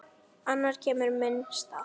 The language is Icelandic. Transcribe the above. Annar kemur í minn stað.